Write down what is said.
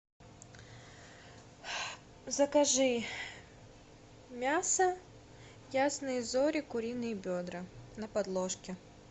закажи мясо ясные зори куриные бедра на подложке